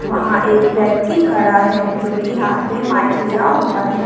वहां एक व्यक्ति खड़ा है जो कि हाथ पे माइक लिया हुआ है।